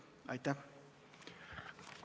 Aitäh!